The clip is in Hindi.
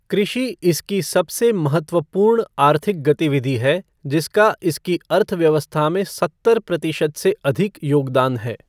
कृषि इसकी सबसे महत्वपूर्ण आर्थिक गतिविधि है जिसका इसकी अर्थव्यवस्था में सत्तर प्रतिशत से अधिक योगदान है।